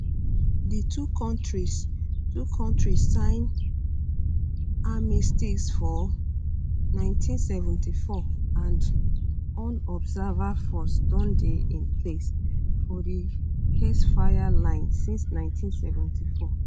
di two kontris two kontris sign armistice for 1974 and un observer force don dey in place for di ceasefire line since 1974